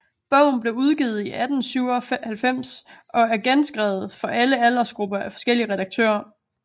Bogen blev udgivet i 1897 og er genskrevet for alle aldersgrupper af forskellige redaktører